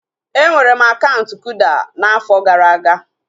Enwere m akaụntụ kuda oge afọ gara aga